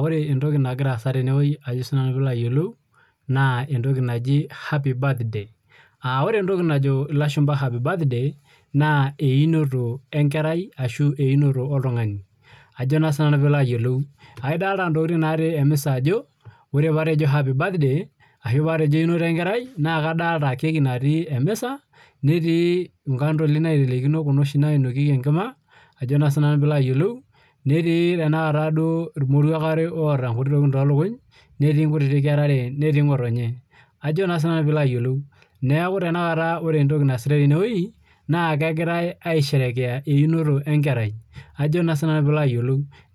Ore entoki nagira asaa tenewueji naa entoki naaji happy birthday ore enatoki naaji elashumba happy birthday naa einoto enkerai ashu einoto oltung'ani edolita entoki tin natii emisa Ajo ore pee atejo happy birthday ashu paa Tejo einoto enkerai naa kadolita kaki natii emisa netii kandoli naitelekino Kuna oshi nainokieki Enkima netii duo eromoruak otaa nkuti tokin too elukunya netii enkera are netii ng'otonye neeku tanakata ore entoki naasitae tenewueji naa kegirai aisherekea einoto enkerai